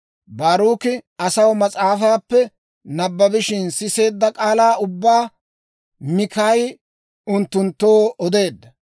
Baaruki asaw mas'aafaappe nabbabishina siseedda k'aalaa ubbaa Mikaayi unttunttoo odeedda.